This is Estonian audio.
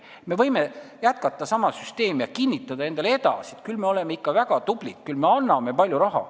Me võime jätkata sama süsteemi ja kinnitada endale edasi, et küll me oleme ikka tublid, küll me anname sinna palju raha.